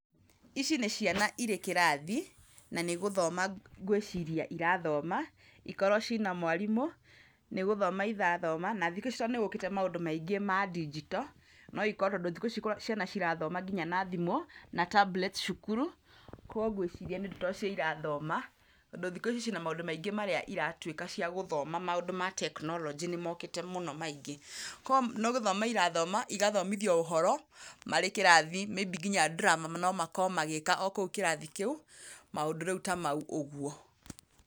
Ici nĩ ciana irĩ kĩrathi, na nĩgũthoma ngwĩciria irathoma, ikorwo cina mwarimũ, nĩgũthoma irathoma. Na thikũ ici nĩgũkĩte maũndũ maingĩ ma ndinjito, tondũ thikũ ici ciana cirathoma nginya na thimũ na tambureti cukuru, kwoguo ngwiciria to cio irathoma, tondũ thikũ ici ci na maũndũ maingĩ marĩa iratuĩka cia gũthoma maũndũ ma tekinoronjĩ nĩ mokĩte mũno maingĩ. Ko, nĩgũthoma irathoma, igathomithio ũhoro marĩ kĩrathi maybe nginya drama no makorwo magĩika o kũu kĩrathi kĩu, maũndũ rĩu ta mau ũguo.